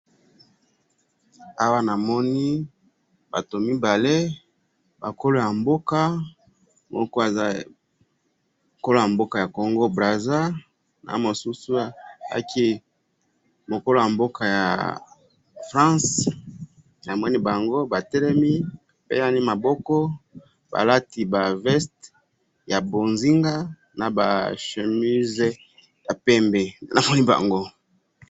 awa namoni batu mibale bakolo ya mboka kolo ya mboka ya congo - brazza na mosusu yaya kolo ya mboka france namoni bango batelemi bapesani maboko balati ba veste ya mbonzinga na chemise ya pembe namoni bango